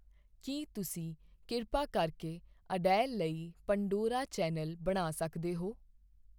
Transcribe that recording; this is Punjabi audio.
ਕੀ ਤੁਸੀਂ ਕਿਰਪਾ ਕਰਕੇ ਅਡੇਲ ਲਈ ਪੰਡੋਰਾ ਚੈਨਲ ਬਣਾ ਸਕਦੇ ਹੋ